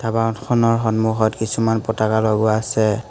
দোকানখনৰ সন্মুখত কিছুমান পতাকা লগোৱা আছে।